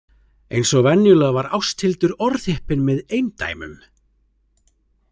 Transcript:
Eins og venjulega var Ásthildur orðheppin með eindæmum.